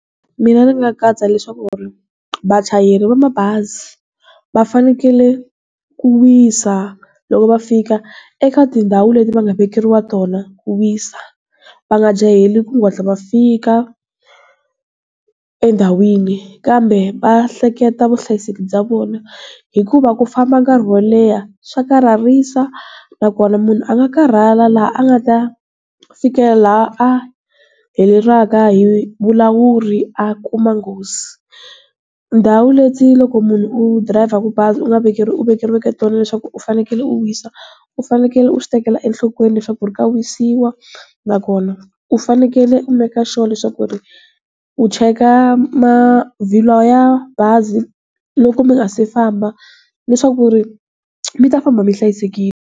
Mina ni nga katsa leswaku ri vachayeri va mabazi va fanekele ku wisa loko va fika eka tindhawu leti va nga vekeriwa tona ku wisa a nga jaheli ku hatla va fika endhawini kambe va hleketa vuhlayiseki bya vona hikuva ku famba nkarhi wo leha swa karhalisa nakona munhu a nga karhala laha a nga ta fikela a hi vulawuri a kuma nghozi. Ndawu leti loko munhu u driver-ka bazi u nga u vekeriweke tona leswaku u fanekele u wisa u fanekele u swi tekela enhlokweni leswaku ri ka wisiwa nakona u fanekele u make-a sure leswaku ri u cheka mavhilwa ya bazi loko mi nga si famba leswaku ri mi ta famba mi hlayisekile.